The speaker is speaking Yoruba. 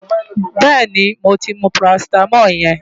Bẹ́ẹ̀ni, mo ti mu parasítámọ̀ yẹn.